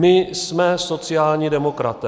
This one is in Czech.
My jsme sociální demokraté.